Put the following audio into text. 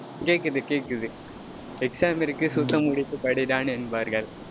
கேக்குது, கேக்குது. exam இருக்கு, மூடிட்டு படிடா என்பார்கள்.